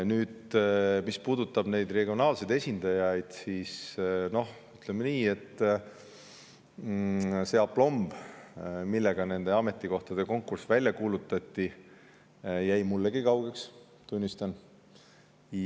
Nüüd, mis puudutab regionaalseid esindajaid, siis ütleme nii, et see aplomb, millega nende ametikohtade konkurss välja kuulutati, jäi mullegi kaugeks, tunnistan.